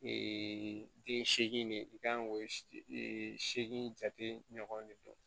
den seegin de i kan k'o ee seegin jate ɲɔgɔn de don